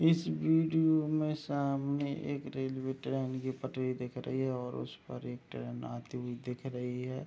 इस वीडियो में सामने एक रेलवे ट्रैन की पटरी दिख रही है और उसपे एक ट्रैन आती हुई दिख रही है।